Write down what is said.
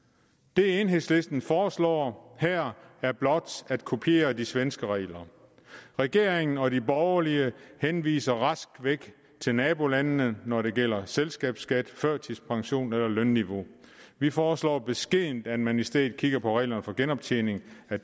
det enhedslisten foreslår her er blot at kopiere de svenske regler regeringen og de borgerlige henviser rask væk til nabolandene når det gælder selskabsskat førtidspension eller lønniveau vi foreslår beskedent at man i stedet kigger på reglerne for genoptjening af